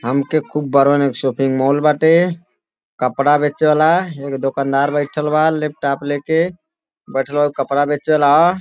हमके खूब बड़ा ने शॉपिंग मॉल बाटे। कपडा बेचे वाला। एगो दुकानदार बैठल बा। लैपटॉप लेके। बइठे कपडा बेचे वाला ह।